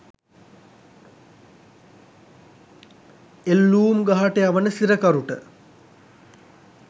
එල්ලූම් ගහට යවන සිරකරුට